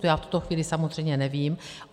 To já v tuto chvíli samozřejmě nevím.